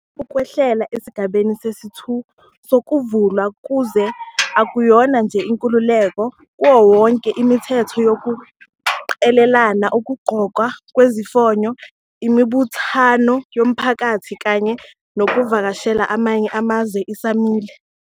Ukwehlela esigabeni sesi-2 sokuvalwa kwezwe akuyona nje 'inkululeko kawonkewonke.' Imithetho yokuqhelelana, ukugqokwa kwezifonyo, imibuthano yomphakathi kanye nokuvakashela amanye amazwe isamile.